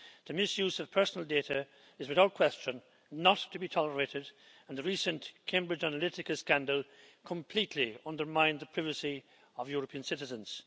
The misuse of personal data is without question not to be tolerated and the recent Cambridge Analytica scandal completely undermined the privacy of European citizens.